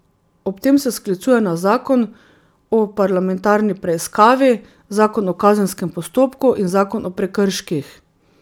Ob tem se sklicuje na zakon o parlamentarni preiskavi, zakon o kazenskem postopku in zakon o prekrških.